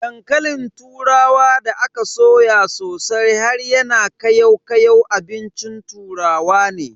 Dankalin turawa da aka soya sosai har yana kayau kayau abincin turawa ne.